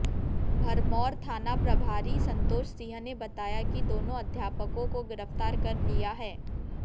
भरमौर थाना प्रभारी संतोष सिंह ने बताया कि दोनों अध्यापकों को गिरफ्तार कर लिया है